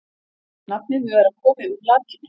Nafnið mun vera komið úr latínu.